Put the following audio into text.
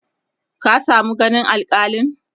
ka samu ganin alkalin?